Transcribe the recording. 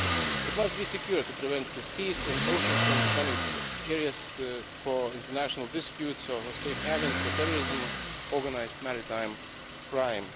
It must be secure, to prevent the seas and oceans from becoming areas for international disputes or safe havens for terrorism or organised maritime crime.